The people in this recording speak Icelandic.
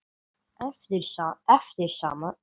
eftir sama höfund.